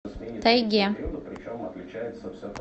тайге